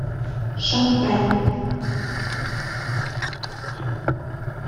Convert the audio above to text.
шон пенн